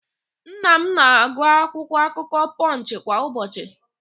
Nna m na-agụ akwụkwọakụkọ Pọnch kwa ụbọchị.